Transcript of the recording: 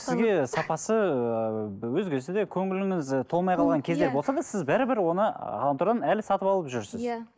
сізге сапасы ыыы өзгесі де көңіліңіз і толмай қалған кездер болса да сіз бәрібір оны ғаламтордан әлі сатып алып жүрсіз иә